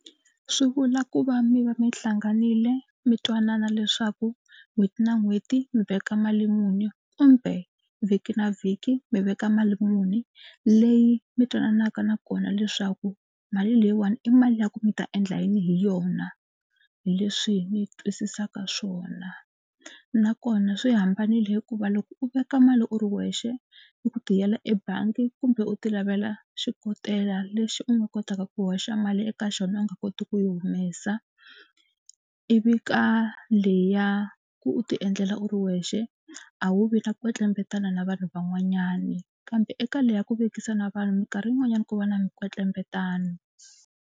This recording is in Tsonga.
Swi vula ku va mi va mi hlanganile mi twanana leswaku n'hweti na n'hweti mi veka mali muni kumbe vhiki na vhiki mi veka mali muni. Leyi mi twananaka na kona leswaku mali leyiwani i mali ya ku mi ta endla yini hi yona. Hi leswi ni twisisaka swona nakona swi hambanile hikuva loko u veka mali u ri wexe i ku tiyela ebangi kumbe u tilavela xikotela lexi u nga kotaka ku hoxa mali eka xona u nga koti ku yi humesa ivi ka leya ku u tiendlela u ri wexe a wu vi na kwetlembetani na vanhu van'wanyana kambe eka leyi ya ku vekisa na vanhu mikarhi yin'wanyani ku va na mikwetlembetano.